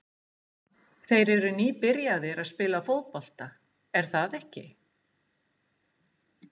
Þeir eru nýbyrjaðir að spila fótbolta, er það ekki?